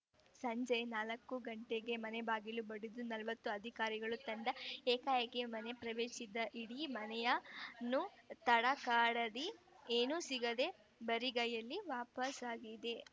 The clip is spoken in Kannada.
ಸಂಜೆ ನಾಲ್ಕು ಗಂಟೆಗೆ ಮನೆ ಬಾಗಿಲು ಬಡಿದ ನಲವತ್ತು ಅಧಿಕಾರಿಗಳ ತಂಡ ಏಕಾಏಕಿ ಮನೆ ಪ್ರವೇಶಿಸಿ ಇಡೀ ಮನೆಯನ್ನು ತಡಕಾಡಿದೆ ಏನೂ ಸಿಗದೆ ಬರಿಗೈಯಲ್ಲಿ ವಾಪಸಾಗಿದೆ